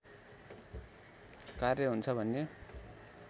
कार्य हुन्छ भन्ने